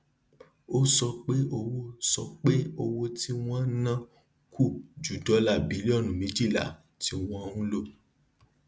ó sọ pé owó sọ pé owó tí wón ń ná kù ju dọlà bílíọnù méjìlá tí wọn ń lò